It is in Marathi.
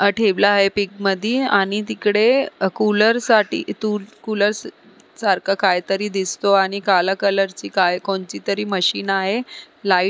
ठेवलं आहे पीक मधी आणि तिकडे कुलरसाठी कुलरसारखं काहीतरी दिसतो आणि काला कलरची कोणतीतरी मशीन दिसतेय.